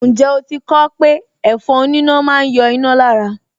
Ǹjẹ́ o ti kọ ọ́ pé ẹ̀fọn oníná máa ń yọ iná lára